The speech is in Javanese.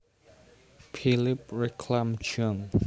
Philipp Reclam jun